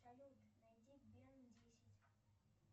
салют найди бен десять